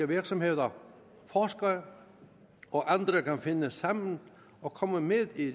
virksomheder forskere og andre kan finde sammen og komme med i